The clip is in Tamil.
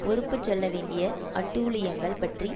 பொறுப்புச் சொல்ல வேண்டிய அட்டூழியங்கள் பற்றி